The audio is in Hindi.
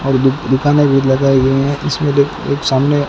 और दु दुकाने भी लगई गई हैं इसमें देख एक सामने--